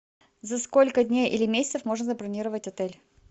за сколько дней или месяцев можно забронировать отель